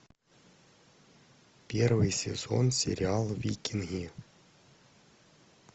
первый сезон сериал викинги